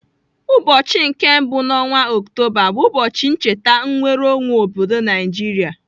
Ụbọchị nke mbụ n'ọnwa Ọktoba bụ ụbọchị ncheta nnwereonwe obodo Naijiria.